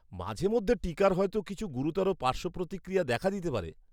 মাঝে মধ্যে টিকার হয়তো কিছু গুরুতর পার্শ্বপ্রতিক্রিয়া দেখা দিতে পারে।